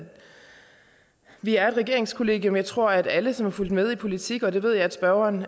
vi er et regeringskollegium jeg tror at alle som har fulgt med i politik og det ved jeg at spørgeren